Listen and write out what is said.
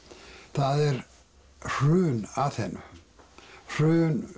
það er hrun Aþenu hrun